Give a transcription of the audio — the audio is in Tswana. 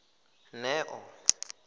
neo